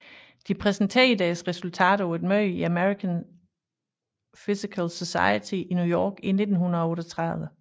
De præsenterede deres resultater på et møde i American Physical Society i New York i 1938